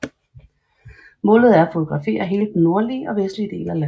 Målet er at fotografere hele den nordlige og vestlige del af landet